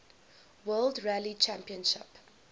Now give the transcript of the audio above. world rally championship